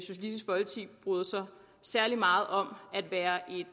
bryder sig særlig meget om at være